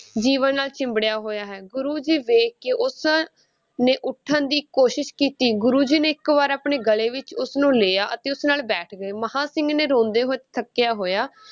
ਜੀਵਨ ਨਾਲ ਚਿੰਬੜਿਆ ਹੋਇਆ ਹੈ, ਗੁਰੂ ਜੀ ਵੇਖ ਕੇ, ਉਸ ਨੇ ਉੱਠਣ ਦੀ ਕੋਸ਼ਿਸ਼ ਕੀਤੀ, ਗੁਰੂ ਜੀ ਨੇ ਇੱਕ ਵਾਰ ਆਪਣੇ ਗਲੇ ਵਿੱਚ ਉਸਨੂੰ ਲਿਆ, ਅਤੇ ਉਸਦੇ ਨਾਲ ਬੈਠ ਗਏ, ਮਹਾਂ ਸਿੰਘ ਨੇ ਰੋਂਦੇ ਹੋਏ, ਥੱਕਿਆ ਹੋਇਆ,